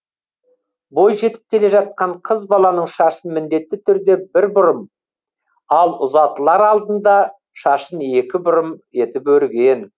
бойжетіп келе жатқан қыз баланың шашын міндетті түрде бір бұрым ал ұзатылар алдында шашын екі бұрым етіп өрген